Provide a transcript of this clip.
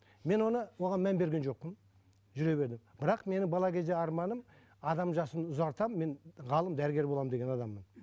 мен оны оған мән берген жоқпын жүре бердім бірақ менің бала кезде арманым адам жасын ұзартамын мен ғалым дәрігер боламын деген адаммын